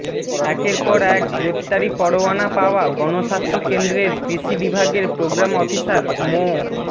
একের পর এক গ্রেপ্তারি পরোয়ানা পাওয়া গণস্বাস্থ্য কেন্দ্রের কৃষি বিভাগের প্রোগ্রাম অফিসার মো